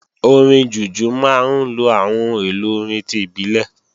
Orin Jùjú máa ń lo àwọn ohun èlò orin ti ìbílẹ̀